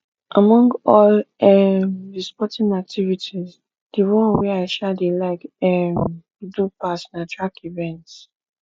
among all um the sporting activities the one wey i um dey like um do pass na track events